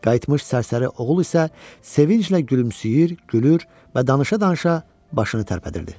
Qayıtmış sərsəri oğul isə sevinclə gülümsüyür, gülür və danışa-danışa başını tərpətdirdi.